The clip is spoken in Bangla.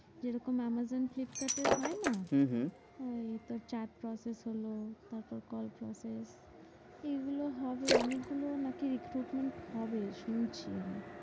যেরকম আমাজন ফ্লিপকার্টের হয় না? হম হম ওই chat process হলো তারপর কল shop এর এগুলো হবে। অনেকগুলো নাকি recruitment হবে শুনছি আমি।